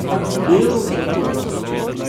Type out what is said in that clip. Belo zlato.